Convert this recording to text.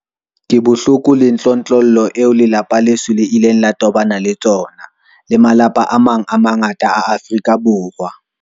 Ke bohloko le tlontlollo eo lelapa leso le ileng la tobana le tsona, le malapa a mang a mangata a Afrika Borwa.